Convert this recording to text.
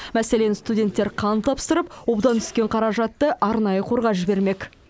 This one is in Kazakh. мәселен студенттер қан тапсырып одан түскен қаражатты арнайы қорға жібермек